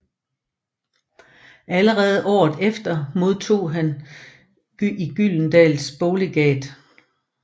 Allerede året efter modtog han i Gyldendals boglegat